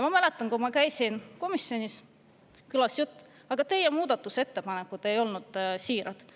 Ma mäletan, et kui ma käisin komisjonis, siis kõlas jutt: aga teie muudatusettepanekud ei ole siirad.